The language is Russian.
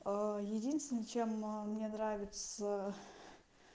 единственно чем мне нравится